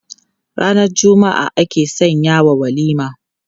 Ranar Juma'a aka sanyawa walima.